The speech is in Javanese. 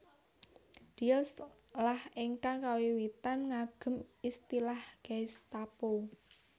Diels lah ingkang kawiwitan ngagem istilah Gestapo